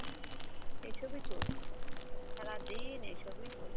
এইসবই চলছে, সারাদিন এই সবই চলছে।